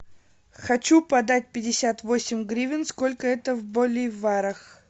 хочу продать пятьдесят восемь гривен сколько это в боливарах